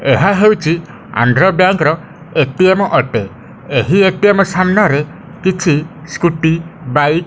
ଏହା ହଉଛି ଆନ୍ଧ୍ର ବ୍ୟାଙ୍କ ର ଏ_ଟି_ମ ଅଟେ। ଏହି ଏ_ଟି_ମ ସାମ୍ନାରେ କିଛି ସ୍କୁଟି ବାଇକ --